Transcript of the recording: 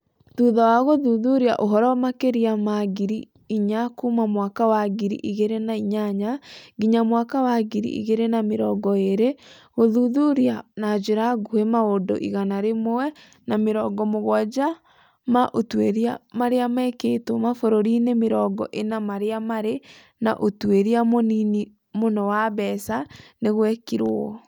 Thutha wa gũthuthuria ũhoro makĩria ma ngiri inya kuuma mwaka wa ngiri igĩrĩ na inyanya nginya mwaka wa ngiri igĩrĩ na mĩrongo ĩĩrĩ, gũthuthuria na njĩra nguhĩ maũndũ igana rĩmwe na mĩrongo mũgwanja ma ũtuĩria marĩa mekĩtwo mabũrũri-inĩ mĩrongo ĩna marĩa marĩ na ũtuĩria mũnini mũno wa mbeca, nĩ gwekirwo.